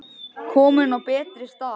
Komin á betri stað.